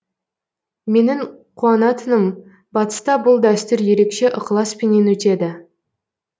менің қуанатыным батыста бұл дәстүр ерекше ықыласпенен өтеді